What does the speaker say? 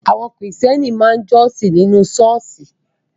Àwọn Kristẹni máa ń jọ́sìn nínú Ṣọ́ọ̀ṣì